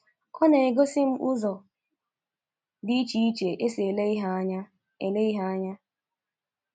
Ọ na-egosi m ụzọ dị iche e si ele ihe anya ele ihe anya ”